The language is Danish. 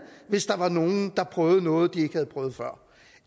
hvis der var nogle der prøvede noget de ikke havde prøvet før